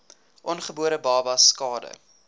ongebore babas skade